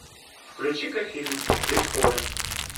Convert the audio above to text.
включи ка фильм бетховен